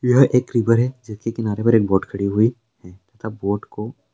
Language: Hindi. यह एक रिवर है जिसके किराने पर एक बोट खड़ी हुई सब बोट को--